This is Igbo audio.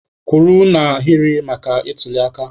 Kwụrụ n'ahịrị maka ntuliaka!